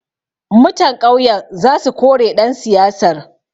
Mutan ƙauyan za su kore ɗan siyasar.